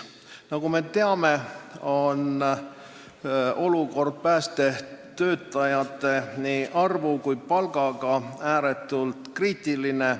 Nagu me teame, on olukord nii päästetöötajate arvu kui palga osas ääretult kriitiline.